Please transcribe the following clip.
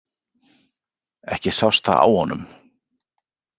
Ekki sást það á honum.